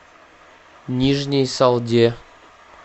нижней салде